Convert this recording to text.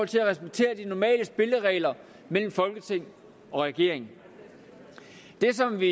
til at acceptere de normale spilleregler mellem folketing og regering det som vi